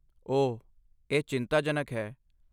ਓਹ, ਇਹ ਚਿੰਤਾਜਨਕ ਹੈ।